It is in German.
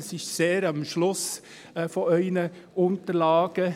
Sie finden es ganz am Ende in Ihren Unterlagen.